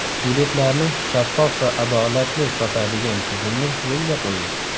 Biletlarni shaffof va adolatli sotadigan tizimni yo‘lga qo‘ying.